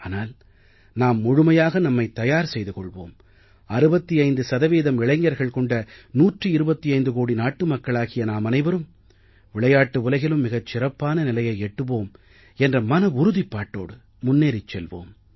ஆனால் நாம் முழுமையாக நம்மை தயார் செய்து கொள்வோம் 65 சதவீதம் இளைஞர்கள் கொண்ட 125 கோடி நாட்டு மக்களாகிய நாமனைவரும் விளையாட்டு உலகிலும் மிகச் சிறப்பான நிலையை எட்டுவோம் என்ற மன உறுதிப்பாட்டோடு முன்னேறிச் செல்வோம்